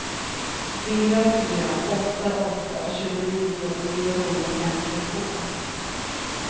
fyra fyra åtta åtta tjugonio niohundrafemtiotvå